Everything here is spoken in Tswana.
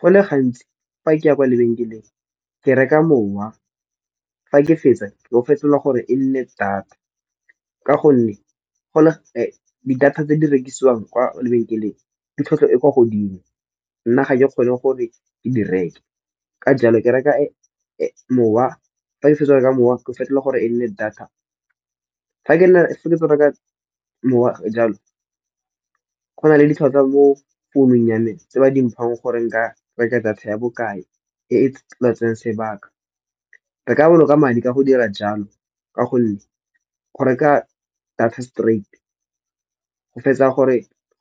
Go le gantsi fa ke ya kwa lebenkeleng ke reka mowa, fa ke fetsa Ke go fetelela gore e nne data. Ka gonne di data tse di rekisiwang kwa lebenkeleng di tlhwatlhwa e kwa godimo nna ga ke kgone gore ke di reke. Ka jalo, ke reka mowa, fa ke fetsa go reka mowa ko fetola gore e nne data. Fa ke fetsa go reka mowa jalo go na le ditlhatlhwa mo founung ya me tse ba di mphang gore nka reka data ya bokae e e tla tseyang sebaka. Re ka boloka madi ka go dira jalo, ka gonne go reka data straight go